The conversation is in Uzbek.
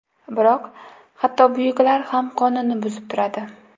Biroq, hatto buyuklar ham qonunni buzib turadi.